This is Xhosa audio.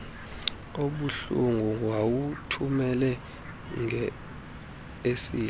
obuhlungu wawuthumela ngeseli